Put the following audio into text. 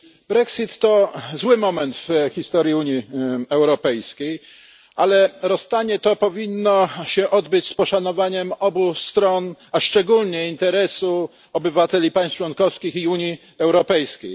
Brexit to zły moment w historii Unii Europejskiej, ale rozstanie to powinno się odbyć z poszanowaniem obu stron, a szczególnie interesu obywateli państw członkowskich i Unii Europejskiej.